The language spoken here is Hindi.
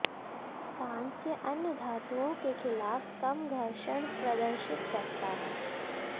कांस्य अन्य धातुओं के खिलाफ कम घर्षण प्रदर्शित करता है